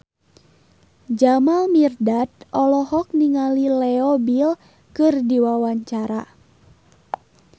Jamal Mirdad olohok ningali Leo Bill keur diwawancara